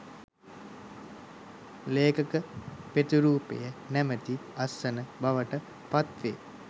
ලේඛක ප්‍රතිරූපය නැමැති අත්සන බවට පත්වේ